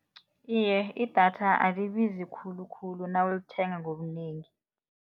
Iye, idatha alibizi khulukhulu nawulithenga ngobunengi.